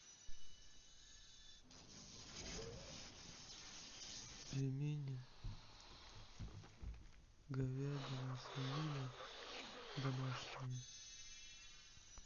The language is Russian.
пельмени говядина свинина домашние